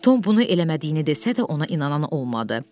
Tom bunu eləmədiyini desə də, ona inanan olmadı.